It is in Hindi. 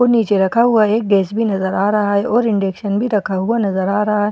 और नीचे रखा हुआ एक गैस भी नजर आ रहा है और इंडेक्शन भी रखा हुआ नजर आ रहा है।